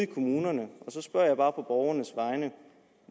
kommunerne så spørger jeg bare på borgernes vegne